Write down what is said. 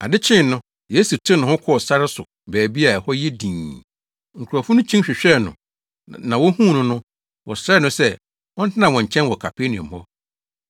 Ade kyee no, Yesu tew ne ho kɔɔ sare so baabi a ɛhɔ yɛ dinn. Nkurɔfo no kyin hwehwɛɛ no na wohuu no no, wɔsrɛɛ no sɛ ɔntena wɔn nkyɛn wɔ Kapernaum hɔ.